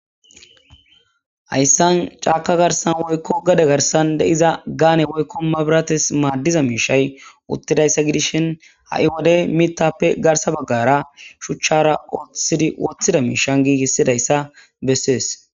Hayssan caaka garsan woykko gade garsan deiza gaane woykkomabirates maaddiza miishay uttidayssa gidishin ha7i wodey mitappe garsa baggara shuchchara ooththidi woththida miishan giigissidayssa bessees.